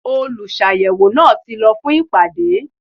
Olùsàyẹ̀wò náà ti lọ fún ìpàdé.